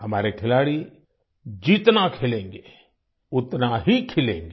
हमारे खिलाड़ी जितना खेलेंगे उतना ही खिलेंगे